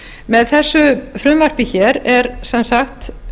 með þessu frumvarpi hér er sem sagt